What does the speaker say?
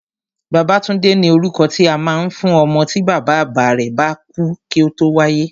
Babátúndé ni orúkọ tí a máa ń fún ọmọ tí bàbá àgbà rẹ̀ bá kú kí ó tó wáyé